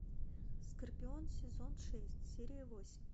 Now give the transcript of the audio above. скорпион сезон шесть серия восемь